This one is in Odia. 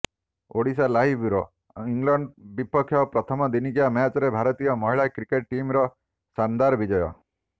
ଓଡ଼ିଶାଲାଇଭ୍ ବ୍ୟୁରୋ ଇଂଲଣ୍ଡ ବିପକ୍ଷ ପ୍ରଥମ ଦିନିକିଆ ମ୍ୟାଚରେ ଭାରତୀୟ ମହିଳା କ୍ରିକେଟ ଟିମ୍ର ଶାନଦାର୍ ବିଜୟ